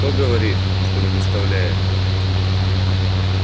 кто говорит что не доставляет